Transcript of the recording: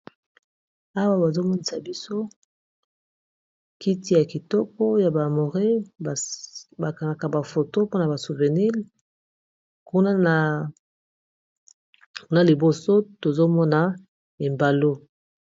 Awa bazomonisa biso kiti ya kitoko ya ba amoré bakangaka bafoto mpona ba souvenir kuna liboso tozomona ebalo